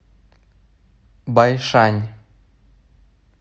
байшань